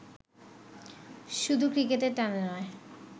শুধু ক্রিকেটের টানে নয়